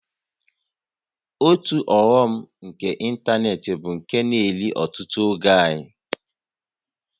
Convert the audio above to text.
Otu ọghọm nke ịntanetị bụ nke na-eri ọtụtụ oge anyị